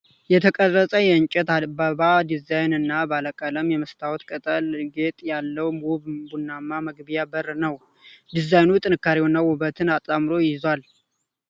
የተቀረጸ የእንጨት አበባ ዲዛይን እና ባለቀለም የመስታወት ቅጠል ጌጥ ያለው ውብ ቡናማ መግቢያ በር ነው። ዲዛይኑ ጥንካሬንና ውበትን አጣምሮ ይዟል።